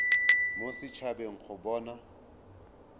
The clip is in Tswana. mo set habeng go bona